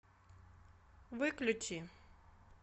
выключи